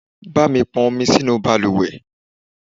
Bámi pọn omi sínú bàlùwẹ̀.